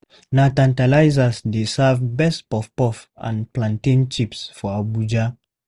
Na Tantalizers dey serve best puff-puff and plantain chips for Abuja.